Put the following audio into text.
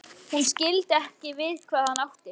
Hún skildi ekki við hvað hann átti.